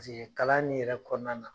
Paseke kalan nin yɛrɛ kɔɔna na